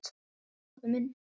Takk pabbi minn.